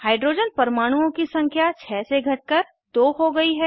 hydrogen परमाणुओं की संख्या 6 से घट कर 2 हो गयी है